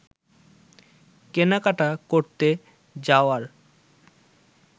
কেনাকাটা করতে যাওয়ার